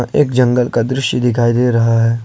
एक जंगल का दृश्य दिखाई दे रहा है।